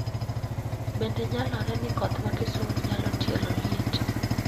Bende nyalore ni koth ma Kisumu nyalo tielo liet